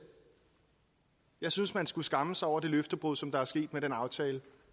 jeg synes man skulle skamme sig over det løftebrud som er sket med den aftale